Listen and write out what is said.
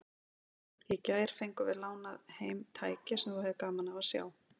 Í gær fengum við lánað heim tæki sem þú hefðir gaman af að sjá.